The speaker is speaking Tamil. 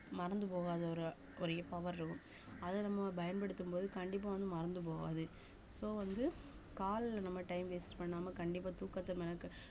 மறந்து போகாத ஒரு இ~ ஒரு power இருக்கும் அத நம்ம பயன்படுத்தும் போது கண்டிப்பா வந்து மறந்து போகாது so வந்து காலைல நம்ம time waste பண்ணாம கண்டிப்பா தூக்கத்த மெனக்கெட்~